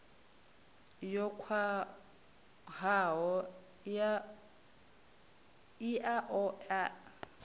yo khwahaho i a oea